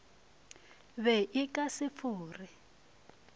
be a ka se fore